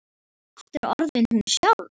Er aftur orðin hún sjálf.